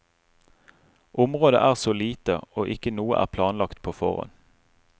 Området er så lite, og ikke noe er planlagt på forhånd.